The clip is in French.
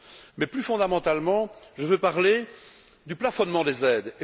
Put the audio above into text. Mais, plus fondamentalement, je veux parler du plafonnement des aides.